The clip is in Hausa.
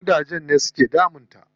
Ƙudajen ne su ke damun ta.